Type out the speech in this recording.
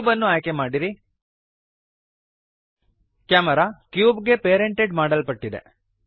cube ಅನ್ನು ಆಯ್ಕೆಮಾಡಿರಿ camera cube ಗೆ ಪೇರೆಂಟೆಡ್ ಮಾಡಲ್ಪಟ್ಟಿದೆ